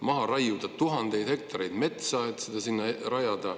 maha raiuda tuhandeid hektareid metsa, et seda sinna rajada.